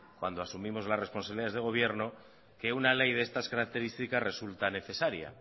cuando asumimos la responsabilidades de gobierno que una ley de estas características resulta necesaria